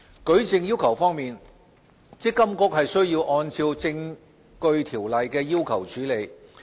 舉證要求方面，積金局則須按照《證據條例》的要求處理。